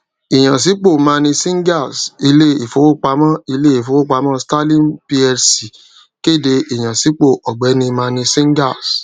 ìyànsípò manish singhals ilé ìfowópamọ ilé ìfowópamọ sterling plc kéde ìyànsípò ọgbẹni manish singhals